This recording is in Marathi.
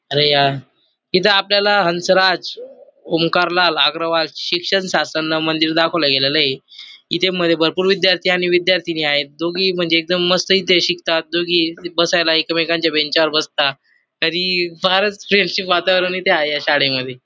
अरे या इथ आपल्याला हंसराज ओमकार लाल अग्रवाज शिक्षण शासनन मंदिर दाखवल गेलेलय इथे मध्ये भरपूर विद्यार्थी आणि विद्यार्थिनी आहेत दोघेही म्हणजे एकदम मस्त येथे शिकतात दोघे ही बसायला एकमेकांच्या बेंचावर बसता तरी फारच फ्रेंडशिप वातावरण इथे आहे या शाळेमध्ये --